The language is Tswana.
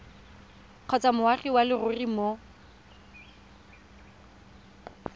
kgotsa moagi wa leruri mo